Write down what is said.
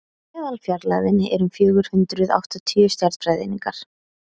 meðalfjarlægðin er um fjögur hundruð áttatíu stjarnfræðieiningar